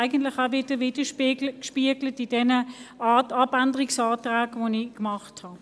Genau dieses Anliegen spiegelt sich in meinen Abänderungsanträgen wieder.